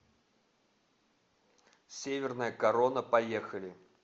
северная корона поехали